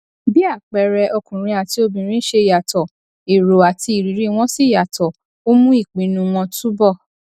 bí àpẹẹrẹ ọkùnrin àti obìnrin ṣe yàtọ èrò àti ìrírí wọn sì yàtọ ó mú ìpinnu wọn túbò